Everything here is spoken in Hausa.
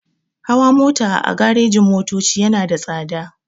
Hawa mota a garejin-motoci yana da tsada.